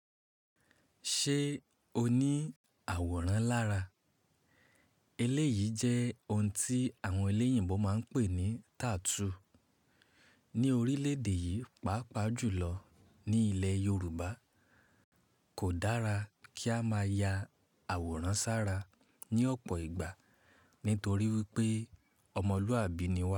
Ṣé o ní àwòrán lára? Eléyìí jẹ́ ohun tí àwọn elẹ́yìnbó máa ń pè ní tattoo. Ni orílẹ̀ èdè yìí, pàápàá jù lọ ní ilẹ̀ Yorùbá kò dára kí a máa ya àwòrán sára ní ọ̀pọ̀ ìgbà nítorí wípé ọmọlúàbí ni wá.